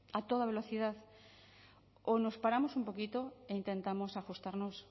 a toda velocidad o nos paramos un poquito e intentamos ajustarnos